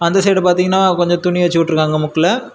அந்த சைடு பாத்தீங்கன்னா கொஞ்ச துணி வெச்சு உட்ருக்காங்க முக்குல.